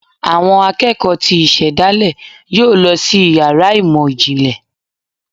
Awọn akeko tí isedale yọọ lọ si ìyára imọ jínlẹ